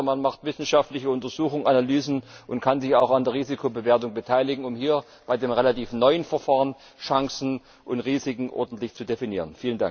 Es ist besser, man macht wissenschaftliche Untersuchungen, Analysen und kann sich auch an der Risikobewertung beteiligen, um hier bei dem relativ neuen Verfahren Chancen und Risiken ordentlich zu definieren.